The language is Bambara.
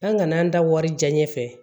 An ŋana da wari diyaɲɛ fɛ